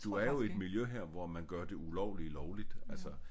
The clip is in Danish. Du er jo i et miljø her hvor man gør det ulovlige lovligt altså